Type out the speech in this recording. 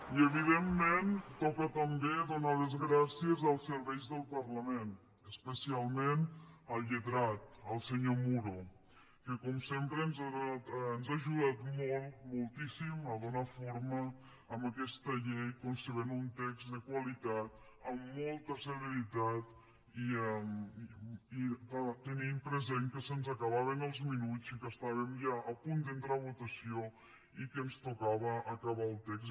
i evidentment toca també donar les gràcies als serveis del parlament especialment al lletrat al senyor muro que com sempre ens ha ajudat molt moltíssim a donar forma a aquesta llei concebent un text de qualitat amb molta celeritat i tenint present que se’ns acabaven els minuts i que estàvem ja a punt d’entrar a votació i que ens tocava acabar el text